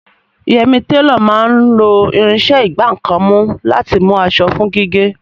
Yẹmì, télọ̀ máa ń lo irinṣẹ́ ìgbá nǹkan mú láti mú aṣọ fún gígé